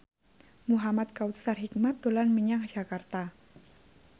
Muhamad Kautsar Hikmat dolan menyang Jakarta